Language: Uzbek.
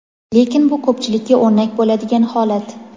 lekin bu ko‘pchilikka o‘rnak bo‘ladigan holat.